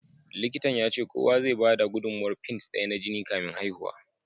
Likitan ya ce kowa zai bada gudummawar pint daya na jini kafin haihuwa.